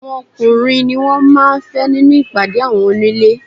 Àwọn ọkùnrin ni wọn máa ń fẹ́ nínú ìpàdé àwọn onílé.